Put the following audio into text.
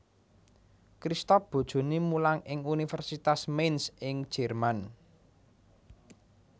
Christoph bojoné mulang ing Universitas Mainz ing Jerman